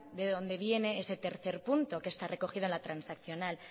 de dónde viene ese tercer punto que está recogida en la transaccional